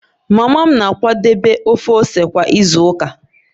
Mama m na-akwadebe ofe ose kwa izu ụka